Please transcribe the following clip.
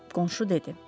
Qonşu dedi.